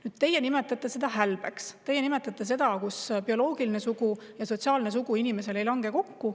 Nüüd, teie nimetate seda hälbeks, kui bioloogiline sugu ja sotsiaalne sugu ei lange inimesel kokku.